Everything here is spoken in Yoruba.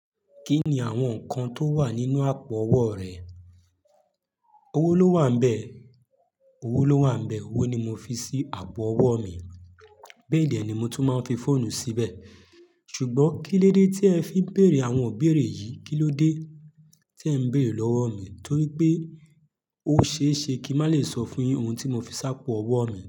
Kí ni àwọn nǹkan tó wà nínú àpò ọwọ́ rẹ? Owó ló wà ńbẹ̀. Owó ló wà ńbẹ̀. Owó ni mo fi sí àpò ọwọ́ mi, béè dé ni mo tún máa ń fi fóònù síbẹ̀. Ṣùgbọ́n kílódé tí ẹ fi ń bèrè àwọn ibéèrè yìí? Kílódé tí ẹ̀ ń bèrè lọ́wọ́ mi torí pé ó ṣe é ṣe kí n má lè sọ fún yìí òun tí mo fi sápọ̀ ọwọ́ mi.